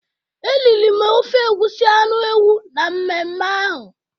Eriri m ofe egusi anu ewu na mmeme ahu.